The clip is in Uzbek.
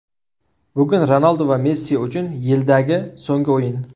Bugun Ronaldu va Messi uchun yildagi so‘nggi o‘yin.